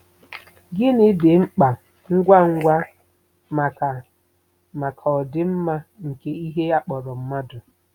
Gịnị dị mkpa ngwa ngwa maka maka ọdịmma nke ihe a kpọrọ mmadụ?